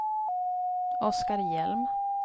Oskar Hjelm